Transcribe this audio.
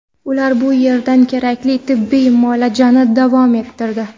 Ular bu yerda kerakli tibbiy muolajani davom ettirdi.